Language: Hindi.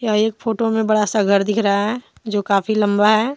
एक फोटो में बड़ा सा घर दिख रहा है जो काफी लंबा है।